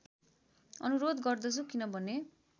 अनुरोध गर्दछु किनभने